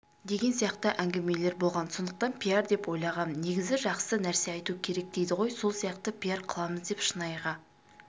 деген сияқты әңгімелер болған сондықтан пиар деп ойлағам негізі жақсы нәрсе айту керек дейді ғой сол сияқты пиар қыламыз деп шынайыға